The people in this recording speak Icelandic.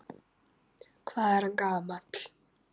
Hvað er hann gamall?